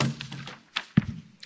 Pani Przewodnicząca!